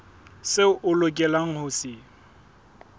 seo o lokelang ho se